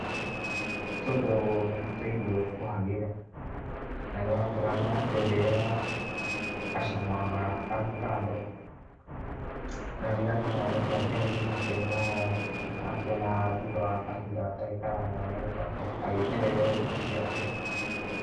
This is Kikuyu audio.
Tũtũ nĩ tũirio tũhagĩre, na nĩwakĩona nĩarakĩongerera gacama kangĩ kando, no ndirakĩmenya nĩkĩ akĩhagĩrĩte no nĩwakĩona thutha wa kahinda gatarĩ karaya nĩegũkorwo agĩkenerera irio ciake.